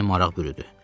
Məni maraq bürüdü.